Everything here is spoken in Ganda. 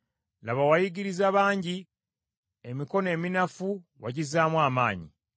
Laba, wayigiriza bangi, emikono eminafu wagizzaamu amaanyi.